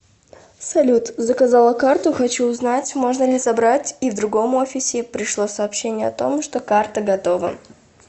салют заказала карту хочу узнать можно ли забрать и в другом офисе пришло сообщение о том что карта готова